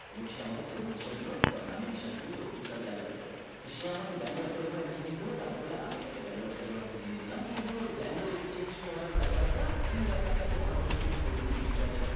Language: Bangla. এবং সে আমাকে তরমুজ টা দিলো কারণ আমি বিশ্বাস করি তরমুজটা ভালো আছে সে আমাকে ভ্যালু আছে সেরকম একটা জিনিস দিল তার বদলে আমি তাকে ভ্যালু আছে এরকম একটা জিনিস দিলাম এই যে যে ভালো Exchange করার ব্যাপারটা এই ব্যাপারটা বোঝা আমাদের খুব জরুরী বিটকয়েনের।